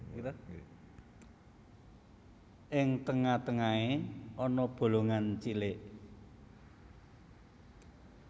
Ing tengah tengahé ana bolongan cilik